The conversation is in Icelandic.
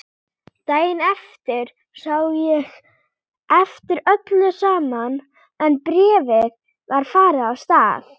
Daginn eftir sá ég eftir öllu saman en bréfið var farið af stað.